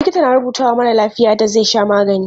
Likita na rubutawa marar lafiya yadda zai sha magani.